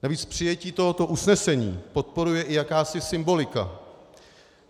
Navíc přijetí tohoto usnesení podporuje i jakási symbolika.